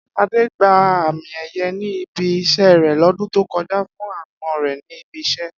Adé gba àmì è̩ye̩ ní ibi is̩é̩ rè̩ ló̩dún tó ko̩jà fún aápo̩n re̩ ní ibi is̩é̩